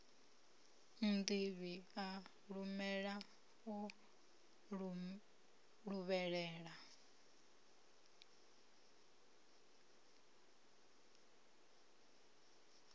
nnḓivhi a luvhelela o luvhelela